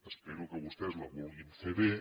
espero que vostès la vulguin fer bé